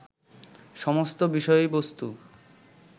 সমস্ত বিষয়বস্তু